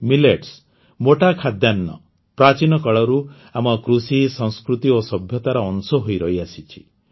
millets ମୋଟା ଖାଦ୍ୟାନ୍ନ ପ୍ରାଚୀନ କାଳରୁ ଆମ କୃଷି ସଂସ୍କୃତି ଓ ସଭ୍ୟତାର ଅଂଶ ହୋଇ ରହିଆସିଛି